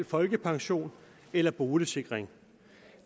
folkepension eller boligsikring